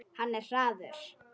Hann er hraður.